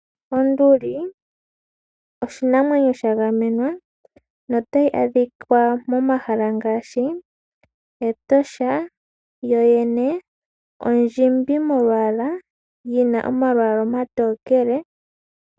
Onduli oshinamwenyo sha gamenwa notayi adhikwa momahala ngaashi Etosha. Yoyene ondjimbi molwaala yina omalwaala omatokele.